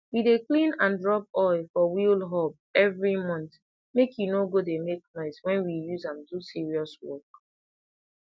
we dey clean and rub oil for wheel hub every month make e no go dey make noise when we use am do serious work